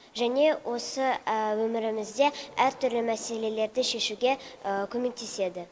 және осы өмірімізде әртүрлі мәселелерді шешуге көмектеседі